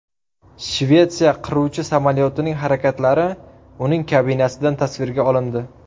Shvetsiya qiruvchi samolyotining harakatlari uning kabinasidan tasvirga olindi .